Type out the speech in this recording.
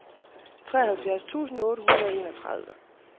treoghalvfjerds tusind otte hundrede og enogtredive